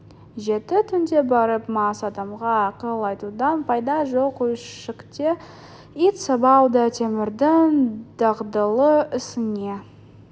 жеті түнде барып мас адамға ақыл айтудан пайда жоқ үйшікте ит сабау да темірдің дағдылы ісіне